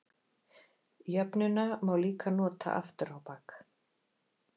Jöfnuna má líka nota aftur á bak.